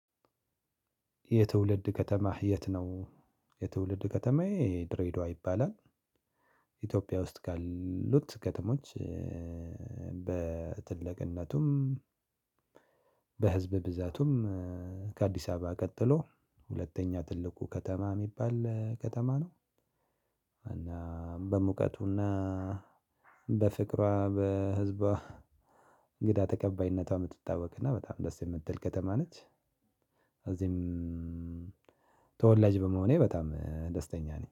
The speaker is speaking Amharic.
የትውልድ ከተማህ የት ነው? የትውልድ ከተማዬ ድሬዳዋ ይባላል። ኢትዮጵያ ውስጥ ካሉት ከተሞች። በትልቅነቱም በህዝብ ብዛቱም ከአዲስ አበባ ቀጥሎ ሁለተኛ ትልቁ ከተማ የሚባል ከተማ ነው። እና በሙቀቱና በፍቅሯ በህዝቧ እንግዳ ተቀባይነቷ የምትታወቅና በጣም ደስ የምትል ከተማ ነች። እዚህም ተወላጅ በመሆኔ በጣም ደስተኛ ነኝ